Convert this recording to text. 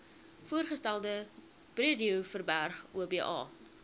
voorgestelde breedeoverberg oba